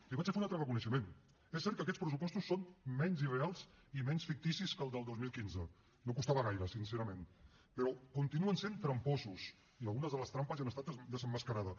li vaig a fer un altre reconeixement és cert que aquests pressupostos són menys irreals i menys ficticis que els del dos mil quinze no costava gaire sincerament però continuen sent tramposos i algunes de les trampes ja han estat desemmascarades